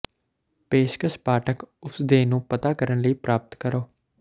ਪੇਸ਼ਕਸ਼ ਪਾਠਕ ਉਸ ਦੇ ਨੂੰ ਪਤਾ ਕਰਨ ਲਈ ਪ੍ਰਾਪਤ ਕਰੋ